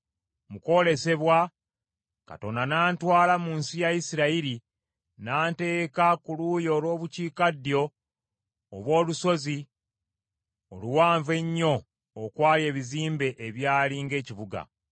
Mu kwolesebwa, Katonda n’antwala mu nsi ya Isirayiri n’anteeka ku luuyi olw’Obukiikaddyo obw’olusozi oluwanvu ennyo okwali ebizimbe ebyali ng’ekibuga.